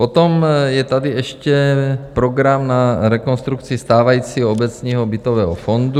Potom je tady ještě program na rekonstrukci stávajícího obecního bytového fondu.